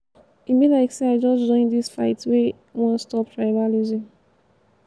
e be like sey i just join dis fight wey wan stop tribalism.